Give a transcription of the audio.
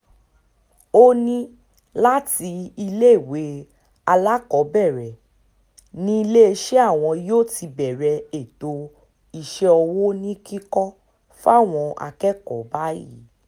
ó ní láti iléèwé alákọ̀ọ́bẹ̀rẹ̀ níléeṣẹ́ àwọn yóò ti bẹ̀rẹ̀ ètò iṣẹ́ ọwọ́ ní kíkọ́ fáwọn akẹ́kọ̀ọ́ báyìí